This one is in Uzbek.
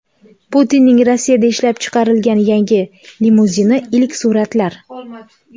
Putinning Rossiyada ishlab chiqarilgan yangi limuzini: ilk suratlar .